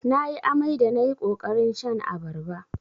Nayi amai da nayi ƙoƙarin shan abarba.